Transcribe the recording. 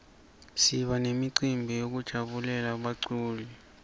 siba memcibi yekujabulela baculi